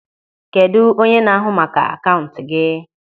Kedụ onye na-ahụ maka akaụntụ gị?